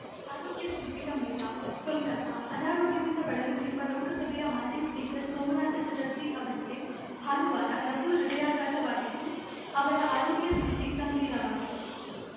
ಆರೋಗ್ಯ ಸ್ಥಿತಿ ಗಂಭೀರ ಕೊಲ್ಕತಾ ಅನಾರೋಗ್ಯದಿಂದ ಬಳಲುತ್ತಿರುವ ಲೋಕಸಭೆಯ ಮಾಜಿ ಸ್ಪೀಕರ್‌ ಸೋಮನಾಥ ಚಟರ್ಜಿ ಅವರಿಗೆ ಭಾನುವಾರ ಲಘು ಹೃದಯಾಘಾತವಾಗಿದ್ದು ಅವರ ಆರೋಗ್ಯ ಸ್ಥಿತಿ ಗಂಭೀರವಾಗಿದೆ